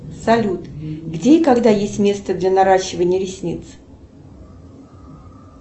салют где и когда есть место для наращивания ресниц